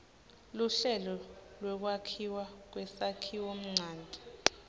luhlelo lwekwakhiwa kwesakhiwonchanti